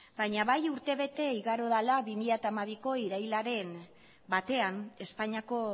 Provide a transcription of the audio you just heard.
baina bai urte bete igaro dela bi mila hamabiko irailaren batean espainiako